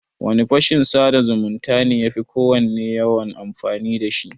Wane fashin sada zumunta ne yafi kowanne yawan masu amfani da shi?